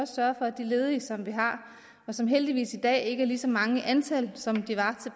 sørge for at de ledige som vi har og som heldigvis i dag ikke er lige så mange i antal som de var